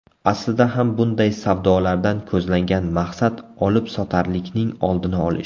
Aslida ham bunday savdolardan ko‘zlangan maqsad olibsotarlikning oldini olish.